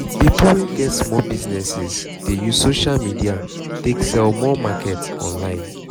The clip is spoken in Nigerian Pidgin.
people um wey get small business um dey use social media take sell more market online